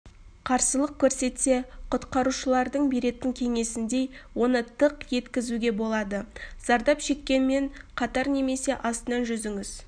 қарсылық көрсетсе құтқарушылардың беретін кеңесіндей оны тық еткізуге болады зардап шеккенмен қатар немесе астынан жүзіңіз